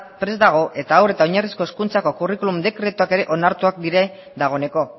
prest dago eta hor eta oinarrizko hezkuntzako curriculum dekretuak ere onartuak dira dagoeneko